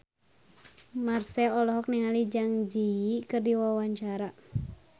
Marchell olohok ningali Zang Zi Yi keur diwawancara